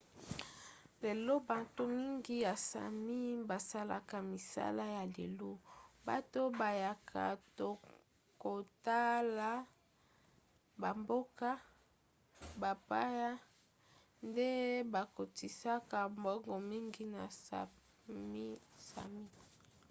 lelo banto mingi ya sámi basalaka misala ya lelo. bato bayaka kotala bamboka bapaya nde bakotisaka mbongo mingi na sápmi sámi